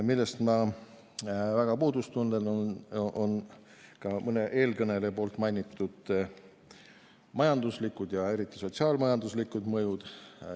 Ma tunnen väga puudust ka mõne eelkõneleja mainitud majanduslikest ja eriti sotsiaal-majanduslikest mõjudest.